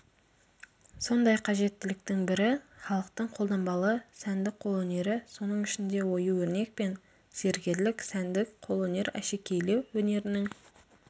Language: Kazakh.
сондай қажеттіліктің бірі халықтың қолданбалы сәндік қолөнері соның ішінде ою-өрнек пен зергерлік сәндік қолөнер әшекейлеу өнерінің